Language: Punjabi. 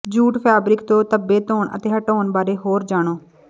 ਜੂਟ ਫੈਬਰਿਕ ਤੋਂ ਧੱਬੇ ਧੋਣ ਅਤੇ ਹਟਾਉਣ ਬਾਰੇ ਹੋਰ ਜਾਣੋ